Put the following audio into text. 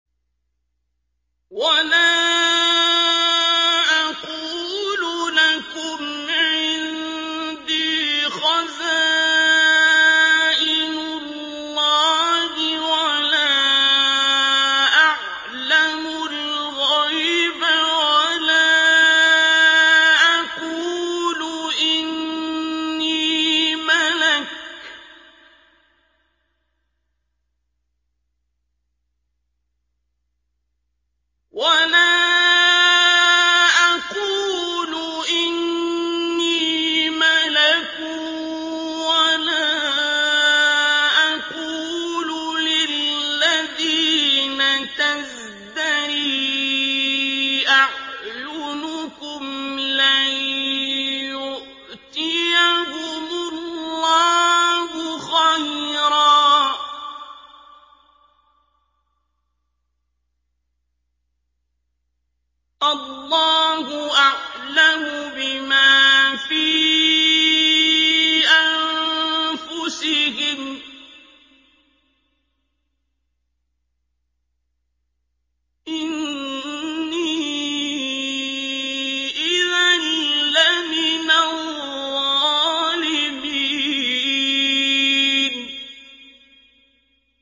وَلَا أَقُولُ لَكُمْ عِندِي خَزَائِنُ اللَّهِ وَلَا أَعْلَمُ الْغَيْبَ وَلَا أَقُولُ إِنِّي مَلَكٌ وَلَا أَقُولُ لِلَّذِينَ تَزْدَرِي أَعْيُنُكُمْ لَن يُؤْتِيَهُمُ اللَّهُ خَيْرًا ۖ اللَّهُ أَعْلَمُ بِمَا فِي أَنفُسِهِمْ ۖ إِنِّي إِذًا لَّمِنَ الظَّالِمِينَ